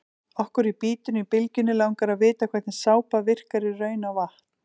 Okkur í Bítinu á Bylgjunni langar að vita hvernig sápa virkar í raun á vatn?